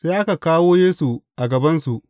Sai aka kawo Yesu a gabansu.